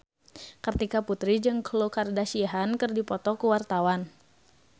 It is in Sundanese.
Kartika Putri jeung Khloe Kardashian keur dipoto ku wartawan